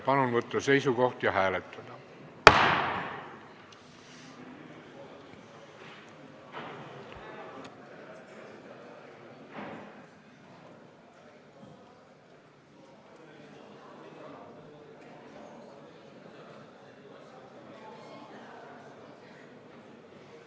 Palun võtta seisukoht ja hääletada!